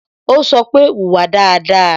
Ó sọ pé "Wùwà dáadáa"